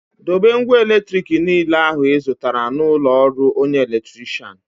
Dobe ngwa eletrik niile ahụ ị zụtara na ụlọ ọrụ onye elektirishan